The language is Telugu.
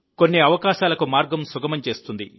కొన్ని అవకాశాలకు మార్గం సుగమం చేస్తుంది